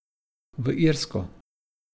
V Irsko.